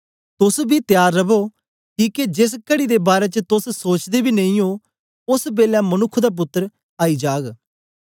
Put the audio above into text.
तोस बी त्यार रवो किके जेस घड़ी दे बारै च तोस सोचदे बी नेई ओ ओस बेलै मनुक्ख दा पुत्तर आई जाग